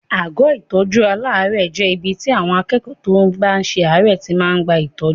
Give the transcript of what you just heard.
Àgọ́ ìtọ́jú aláàárẹ̀ jẹ́ ibi tí àwọn akẹ́kọ̀ọ́ tó bá ṣe àárẹ̀ tí máa ń gba ìtọ́jú.